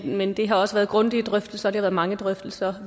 men det har også været grundige drøftelser og det har været mange drøftelser